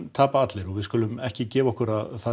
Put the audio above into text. tapa allir við skulum ekki gefa okkur að það